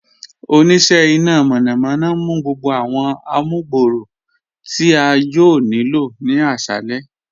Oníṣẹ̀ ìná mọ̀nàmọ̀na ǹ mú gbogbo awọn àmùgbọ̀rọ̀ tí a yòò ní ilọ̀ ní àṣalẹ̀.